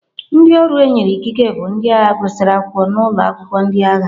Ndị ọrụ e nyere ikike bụ ndị agha gụsịrị akwụkwọ n'ụlọ akwụkwọ ndị agha.